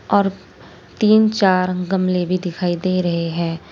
और तीन चार गमले भी दिखाई दे रहे हैं।